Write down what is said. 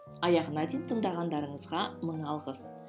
аяғына дейін тыңдағандарыңызға мың алғыс